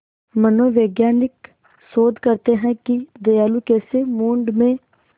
मनोवैज्ञानिक शोध करते हैं कि दयालुता कैसे मूड में